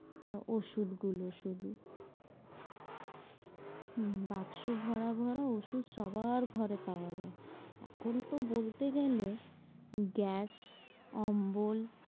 ওষুধগুলো শুধু, বাক্স ভরা ভরা ওষুধ সবার ঘরে পাওয়া যায়। এখন তো বলতে গেলে গ্যাস, অম্বল,